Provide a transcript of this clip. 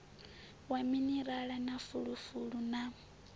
wa minirala na fulufulu na